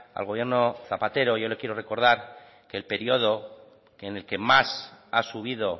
al gobierno zapatero yo le quiero recordar que el periodo que en el que más ha subido